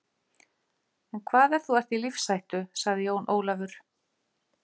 En hvað ef þú ert í lífshættu, sagði Jón Ólafur.